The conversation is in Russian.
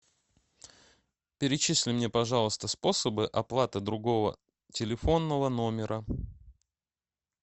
перечисли мне пожалуйста способы оплаты другого телефонного номера